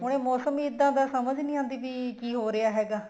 ਹੁਣ ਇਹ ਮੋਸਮ ਹੀ ਇੱਦਾਂ ਦਾ ਹੈ ਕੀ ਸਮਝ ਹੀ ਨਹੀਂ ਆਂਦੀ ਪਈ ਕੀ ਹੋ ਰਿਹਾ ਹੈਗਾ